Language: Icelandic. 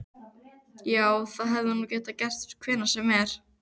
Já, það hefði nú getað gerst hvenær sem er.